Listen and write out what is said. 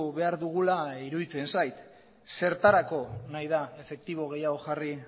behar dugula iruditzen zait zertarako nahi da efektibo gehiago jarri